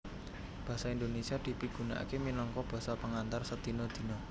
Basa Indonesia dipigunakaké minangka basa pengantar sadina dina